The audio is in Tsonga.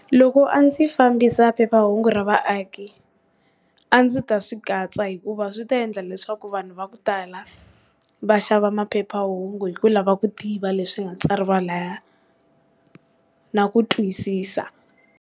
Loko a ndzi fambisa phephahungu ra vaaki a ndzi ta swi katsa hikuva swi ta endla leswaku vanhu va ku tala va xava maphephahungu hi ku lava ku tiva leswi nga tsariwa lahaya na ku twisisa.